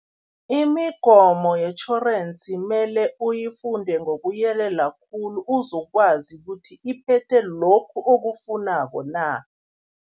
Imigomo yetjhorensi mele uyifunde ngokuyelela khulu, uzokwazi ukuthi iphethe lokhu okufunako na.